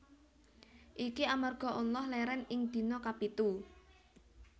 Iki amarga Allah lèrèn ing dina kapitu